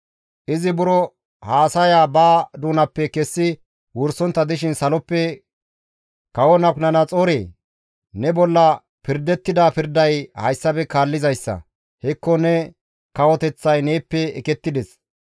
Izi buro haasaya ba doonappe kessi wursontta dishin saloppe, «Kawo Nabukadanaxoore! Ne bolla pirdettida pirday hayssafe kaallizayssa. Hekko ne kawoteththay neeppe ekettides.